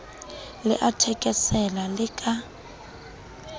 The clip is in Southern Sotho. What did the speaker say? le a thekesela le ka